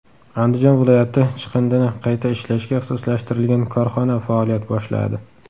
Andijon viloyatida chiqindini qayta ishlashga ixtisoslashtirilgan korxona faoliyat boshladi.